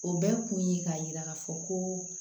O bɛɛ kun ye k'a yira k'a fɔ koo